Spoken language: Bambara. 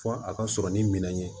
Fo a ka sɔrɔ ni minɛn ye